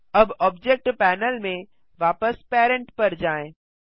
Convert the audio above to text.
अब object panel में वापस पेरेंट पर जाएँ